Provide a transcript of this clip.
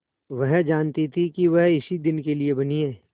वह जानती थी कि वह इसी दिन के लिए बनी है